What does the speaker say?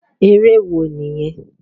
Eré wo nìyẹn?